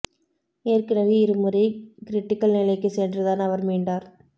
ஏற்கனவே இரு முறை கிரிட்டிகல் நிலைக்கு சென்றுதான் அவர் மீண்டார்